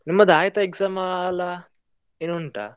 ನಿಮ್ಮದು ಆಯ್ತಾ exam ಅಲ್ಲ, ಇನ್ನು ಉಂಟಾ.